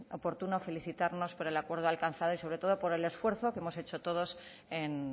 oportuno felicitarnos por el acuerdo alcanzado y sobre todo por el esfuerzo que hemos hecho todos en